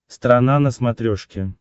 страна на смотрешке